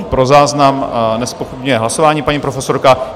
Ano, pro záznam, nezpochybňuje hlasování paní profesorka.